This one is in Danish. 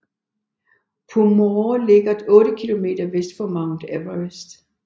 Pumori ligger otte kilometer vest for Mount Everest